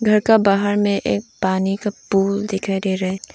घर का बाहर में एक पानी का पूल दिखाई दे रहा है।